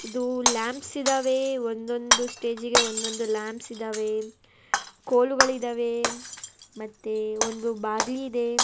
ಇದು ಲ್ಯಾಂಬ್ಸ್ ಇದಾವೆ ಒಂದೊಂದು ಸ್ಟೇಜಿಗೆ ಒಂದೊಂದು ಲ್ಯಾಂಬ್ಸ್ ಇದಾವೆ ಕೋಲುಗಳಿದಾವೆ ಮತ್ತೆ ಒಂದು ಬಾಗಿಲಿದೆ.